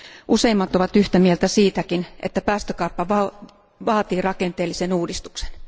Useimmat ovat yhtä mieltä siitäkin, että päästökauppa vaatii rakenteellisen uudistuksen.